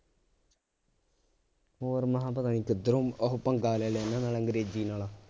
ਹੋਰ ਮੈ ਕਿਹਾ ਪਤਾ ਨਹੀਂ ਕਿਧਰੋਂ ਆਹ ਪੰਗਾ ਲੈ ਲਿਆ ਇਹਨਾਂ ਨਾਲ ਅੰਗਰੇਜ਼ੀ ਨਾਲ